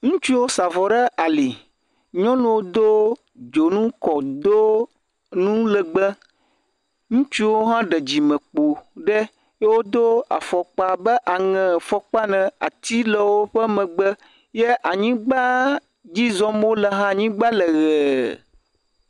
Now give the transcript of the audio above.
Ŋutsuwo sa vɔ ɖe ali. Nyɔnuwo do dzonu kɔ do nu lɛgbɛ. Ŋutsuwo hã woɖe dzimekpo ɖe eye wodo fɔkpa be aŋɛfɔkpaa ne. Ati le woƒe megbe, ye anyigba dzi zɔm wole hã, anyigba le ʋee.